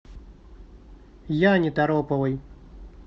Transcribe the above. яне тороповой